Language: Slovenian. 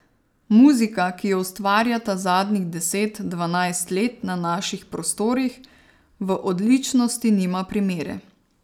Muzika, ki jo ustvarjata zadnjih deset, dvanajst let na naših prostorih, v odličnosti nima primere.